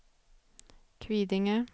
Kvidinge